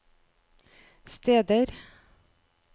steder